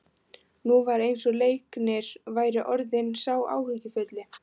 Nú var eins og Leiknir væri orðinn sá áhyggjufulli.